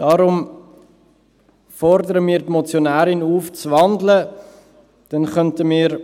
– Deshalb fordern wir die Motionärin auf, zu wandeln, dann können wir den